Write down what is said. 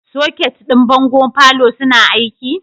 Soket ɗin bangon falo suna aiki?